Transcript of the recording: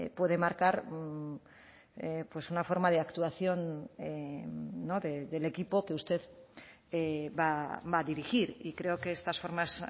puede marcar pues una forma de actuación del equipo que usted va a dirigir y creo que estas formas